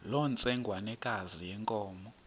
loo ntsengwanekazi yenkomo